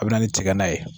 A bɛ na ni tiga ye